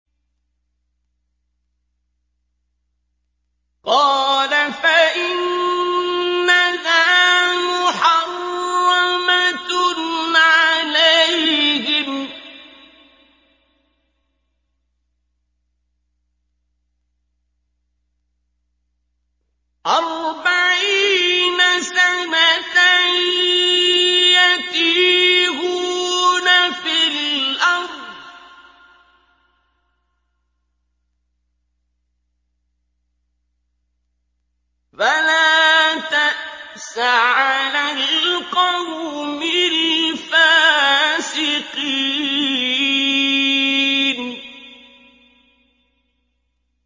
قَالَ فَإِنَّهَا مُحَرَّمَةٌ عَلَيْهِمْ ۛ أَرْبَعِينَ سَنَةً ۛ يَتِيهُونَ فِي الْأَرْضِ ۚ فَلَا تَأْسَ عَلَى الْقَوْمِ الْفَاسِقِينَ